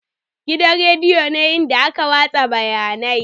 Gidan rediyo ne inda ake watsa labarai.